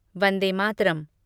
Vande Mataram